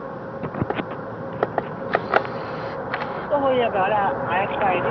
উম ও হয়ে যাবে অরে আর একটা ID